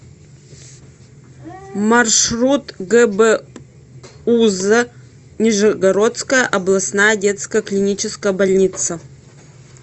маршрут гбуз нижегородская областная детская клиническая больница